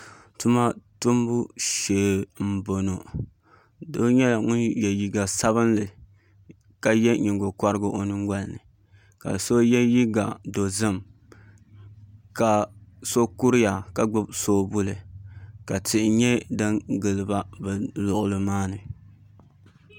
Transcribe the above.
Tuma tumbu shee n boŋo doo nyɛla ŋun yɛ liiga sabinli ka yɛ nyingokorigi o nyingoli ni ka so yɛ liiga dozim ka so kuriya ka gbubi soobuli ka tihi nyɛ din giliba ni luɣuli maa ni